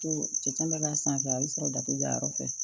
To cɛncɛn bɛ k'a sanfɛ a bɛ sɔrɔ dato jayɔrɔ fɛ